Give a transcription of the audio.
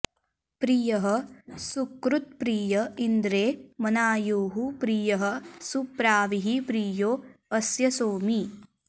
प्रि॒यः सु॒कृत्प्रि॒य इन्द्रे॑ मना॒युः प्रि॒यः सु॑प्रा॒वीः प्रि॒यो अ॑स्य सो॒मी